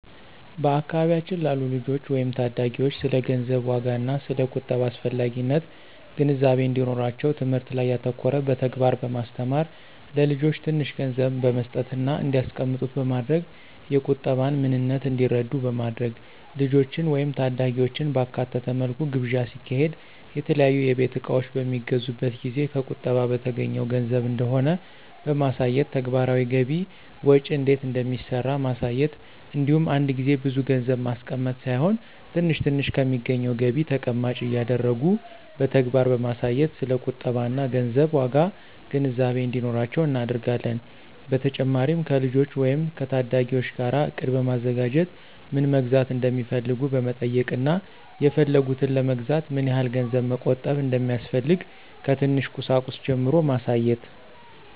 በአካባቢያችን ላሉ ልጆች ወይም ታዳጊዎች ስለ ገንዘብ ዋጋና ስለ ቁጠባ አስፈላጊነት ግንዛቤ እንዲኖራቸው ትምህርት ላይ ያተኮረ በተግባር በማስተማር(ለልጆች ትንሽ ገንዘብ በመስጠትና እንዲያስቀምጡት በማድረግ የቁጠባን ምንነት እንዲረዱ በማድረግ)፣ ልጆችን ወይም ታዳጊዎችን ባካተተ መልኩ ግብዣ ሲካሄድ፣ የተለያዩ የቤት እቃዎች በሚገዙበት ጊዜ ከቁጠባ በተገኘው ገንዘብ እንደሆነ በማሳየት፣ ተግባራዊ ገቢ ወጪ እንዴት እንደሚሰራ ማሳየት እንዲሁም አንድ ጊዜ ብዙ ገንዘብ ማስቀመጥ ሳይሆን ትንሽ ትንሽ ከሚገኘው ገቢ ተቀማጭ እያደረጉ በተግባር በማሳየት ስለ ቁጠባና ገንዘብ ዋጋ ግንዛቤ እንዲኖራቸው እናደርጋለን። በተጨማሪም ከልጆች ወይም ከታዳጊዎች ጋር እቅድ በማዘጋጀት ምን መግዛት እንደሚፈልጉ በመጠየቅና የፈለጉትን ለመግዛት ምን ያህል ገንዘብ መቆጠብ እንደሚያስፈልግ ከትንሽ ቁሳቁስ ጀምሮ ማሳየት።